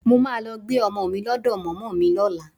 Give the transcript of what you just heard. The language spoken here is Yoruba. Mo máa lọ gbé ọmọ mi lọ́dọ̀ mọ̀mọ́ mi lọ́la